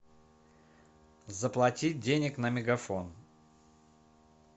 заплатить денег на мегафон